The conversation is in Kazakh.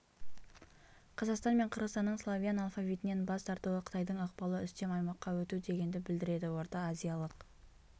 қазақстан мен қырғызстанның славян алфавитінен бас тартуы қытайдың ықпалы үстем аймаққа өту дегенді білдіреді орта азиялық